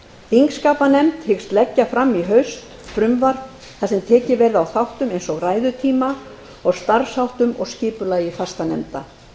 þingskapanefnd hyggst leggja fram í haust frumvarp þar sem tekið verði á þáttum eins og ræðutíma og starfsháttum og skipulagi fastanefnda ef